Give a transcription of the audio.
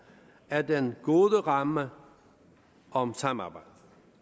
er den gode ramme om samarbejdet